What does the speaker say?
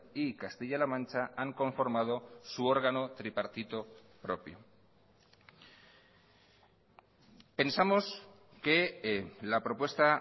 y castilla la mancha han conformado su órgano tripartito propio pensamos que la propuesta